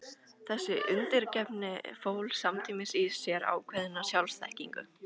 Þessi undirgefni fól samtímis í sér ákveðna sjálfsþekkingu.